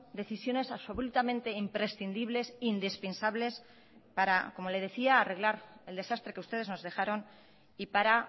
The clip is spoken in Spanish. decisiones absolutamente imprescindibles indispensables para como le decía arreglar el desastre que ustedes nos dejaron y para